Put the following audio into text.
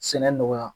Sɛnɛ nɔgɔya